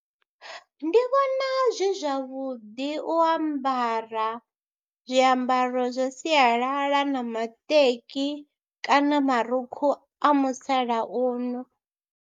Ndi vhona zwi zwavhuḓi u ambara zwiambaro zwa sialala na maṱeki kana marukhu a musalauno.